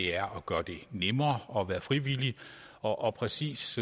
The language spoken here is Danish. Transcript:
er at gøre det nemmere at være frivillig og og præcis